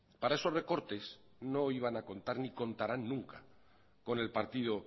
para esos recortes no iban a contar ni contarán nunca con el partido